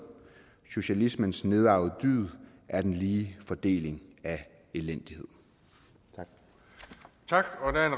socialismens nedarvede dyd er den lige fordeling af elendighed tak